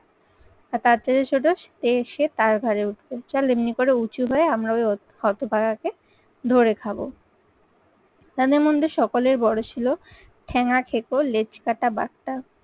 আর তার চেয়ে ছোটো সে তার ঘরে উঠবে চল এমনি করে উঁচু হয়ে আমরা ওই হতভাগাকে ধরে খাব। তাদের মধ্যে সকলের বড় ছিল ঠেঙাঠেক লেজকাটা বাঘ